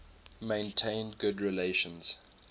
maintained good relations